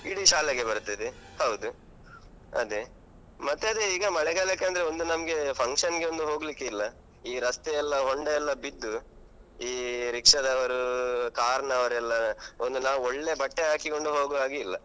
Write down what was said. ಇಡೀ ಶಾಲೆಗೆ ಬರ್ತದೆ ಹೌದು ಅದೆ. ಮತ್ತೆ ಅದೆ ಈಗ ಮಳೆಗಾಲಕ್ಕೆ ಅಂದ್ರೆ ಒಂದು ನಮ್ಗೆ function ಗೆ ಒಂದು ಹೋಗ್ಲಿಕ್ಕಿಲ್ಲ. ಈ ರಸ್ತೆ ಎಲ್ಲ ಹೊಂಡ ಎಲ್ಲ ಬಿದ್ದು ಈ ರಿಕ್ಷಾದವರು, car ನವರೆಲ್ಲ ಒಂದು ನಾವು ಒಳ್ಳೆ ಬಟ್ಟೆ ಹಾಕಿಕೊಂಡು ಹೋಗುವಾಗೆ ಇಲ್ಲ.